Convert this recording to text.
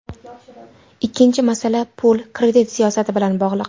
Ikkinchi masala, pul-kredit siyosati bilan bog‘liq.